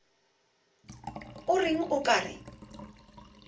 o reng o ka re